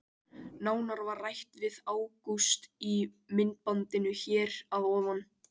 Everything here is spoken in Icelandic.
Nánar var rætt við Ágúst í myndbandinu hér að ofan.